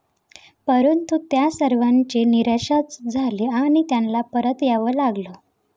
परंतु त्या सर्वांची निराशाच झाली आणि त्यांना परत यावं लागलं.